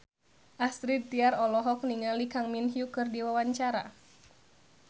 Astrid Tiar olohok ningali Kang Min Hyuk keur diwawancara